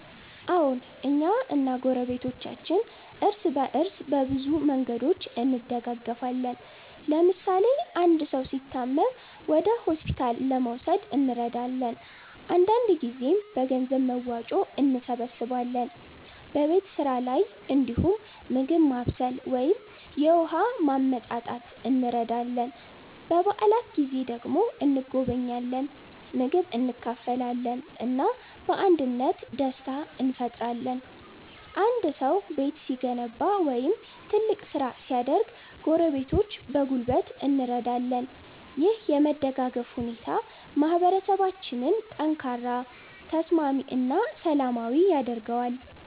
አዎን፣ እኛ እና ጎረቤቶቻችን እርስ በእርስ በብዙ መንገዶች እንደጋገፋለን። ለምሳሌ አንድ ሰው ሲታመም ወደ ሆስፒታል ለመውሰድ እንረዳለን፣ አንዳንድ ጊዜም በገንዘብ መዋጮ እንሰብስባለን። በቤት ስራ ላይ እንዲሁም ምግብ ማብሰል ወይም የውሃ ማመጣት እንረዳዳለን። በዓላት ጊዜ ደግሞ እንጎበኛለን፣ ምግብ እንካፈላለን እና በአንድነት ደስታ እንፈጥራለን። አንድ ሰው ቤት ሲገነባ ወይም ትልቅ ስራ ሲያደርግ ጎረቤቶች በጉልበት እንረዳለን። ይህ የመደጋገፍ ሁኔታ ማህበረሰባችንን ጠንካራ፣ ተስማሚ እና ሰላማዊ ያደርጋል።